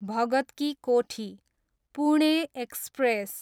Bhagat ki Kothi, Pune express